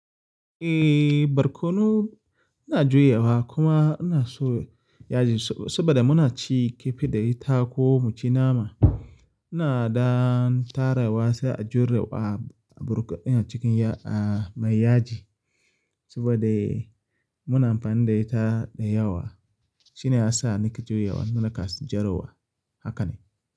Eh, barkono ina juyawa kuma ina so yaji saboda muna ci kifi da ita ko mu ci nama. Ina ɗan tarawa sai a juye a burkutu din a cikin a mai yaji saboda muna amfani da ita da yawa. Shine ya sa nake juyawa, na kan juyewa haka ne.